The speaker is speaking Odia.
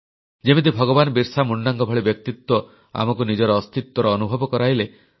ଯେମିତି ଭଗବାନ ବିର୍ସା ମୁଣ୍ଡାଙ୍କ ଭଳି ବ୍ୟକ୍ତିତ୍ୱ ଆମକୁ ନିଜର ଅସ୍ତିତ୍ୱର ଅନୁଭବ କରାଇଲେ